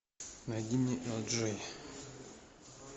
найди мне элджей